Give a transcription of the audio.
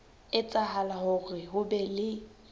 etsahala hore ho be le